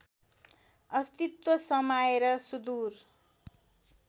अस्तित्व समाएर सुदूर